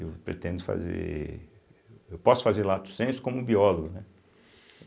E eu pretendo fazer eu posso fazer lato senso como biólogo, né?